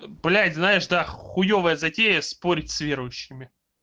блять знаешь да хуёвая затея спорить с верующими